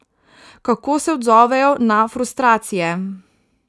Kako se odzovejo na frustracije.